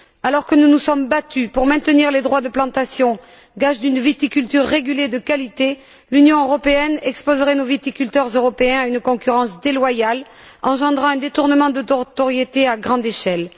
Alors que nous nous sommes battus pour maintenir les droits de plantation, gage d'une viticulture régulée de qualité, l'Union européenne exposerait nos viticulteurs européens à une concurrence déloyale, engendrant un détournement de notoriété à grande échelle.